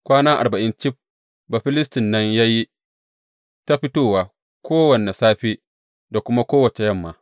Kwana arba’in cif, Bafilistin nan ya yi ta fitowa kowane safe da kuma kowace yamma.